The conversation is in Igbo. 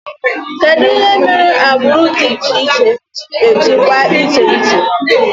Kedụ ihe mere agbụrụ dị iche iche ji ejikwa iche iche?